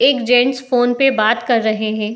एक gents phone पे बात कर रहे है।